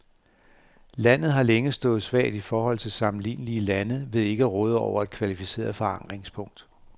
Landet har længe stået svagt i forhold til sammenlignelige lande ved ikke at råde over et kvalificeret forankringspunkt.